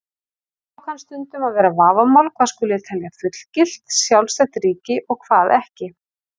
Þá kann stundum að vera vafamál hvað skuli telja fullgilt, sjálfstætt ríki og hvað ekki.